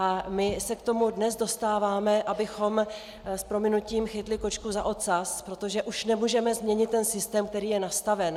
A my se k tomu dnes dostáváme, abychom s prominutím chytli kočku za ocas, protože už nemůžeme změnit ten systém, který je nastaven.